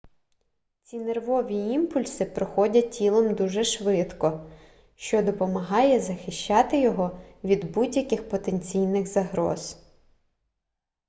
ці нервові імпульси проходять тілом дуже швидко що допомагає захищати його від будь-яких потенційних загроз